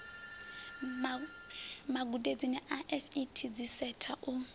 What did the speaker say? magudedzi a fet dziseta u